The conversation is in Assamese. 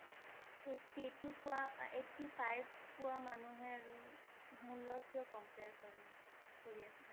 eighty eighty পোৱা eighty five পোৱা মানুহে আৰু মোৰ লগত কিয় compare কৰে? কৰি আছা?